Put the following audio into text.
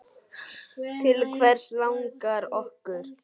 Til hvers langar okkur?